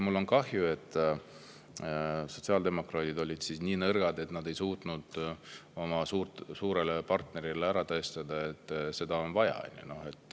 Mul on kahju, et sotsiaaldemokraadid olid nii nõrgad, et nad ei suutnud oma suurele partnerile ära tõestada, et seda on vaja.